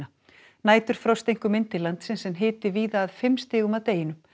næturfrost einkum inn til landsins en hiti víða að fimm stigum að deginum